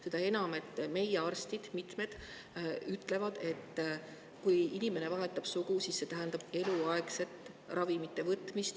Seda enam, et mitmed meie arstid ütlevad, et kui inimene vahetab sugu, siis see tähendab eluaegset ravimite võtmist.